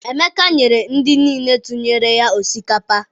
Emeka nyere ndị niile tụnyere ya osikapa.